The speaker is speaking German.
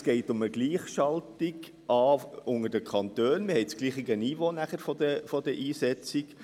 Es geht um eine Gleichschaltung der Kantone, denn so haben wir dasselbe Niveau bei der Einsetzung.